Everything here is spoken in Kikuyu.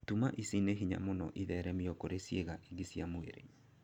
Tuma ici nĩ hinya mũno itheremio kũrĩ ciĩga ingĩ cia mwĩrĩ